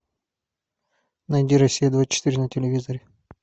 найди россия двадцать четыре на телевизоре